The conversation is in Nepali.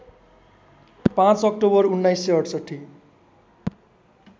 ५ अक्टोबर १९६८